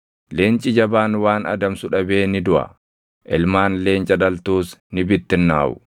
Leenci jabaan waan adamsu dhabee ni duʼa; ilmaan leenca dhaltuus ni bittinnaaʼu.